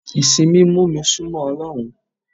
Ìsìn mi mú mi sún mọ́ Ọlọ́run.